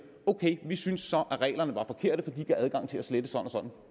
ok vi synes så at reglerne var forkerte for de gav adgang til at slette sådan og